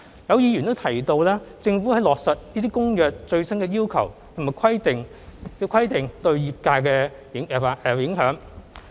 有議員提及政府在落實這些《公約》的最新要求及規定對業界的影響。